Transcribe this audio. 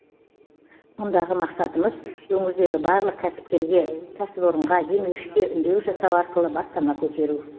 мұндағы мақсатымыз өңірдегі барлық кәсіпкерге кәсіпорынға демеушіге үндеу жасау арқылы бастама көтеру